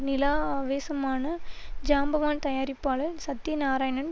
நிலா ஆவேசமான ஜாம்பவான் தயாரிப்பாளர் சத்யநாராயணன்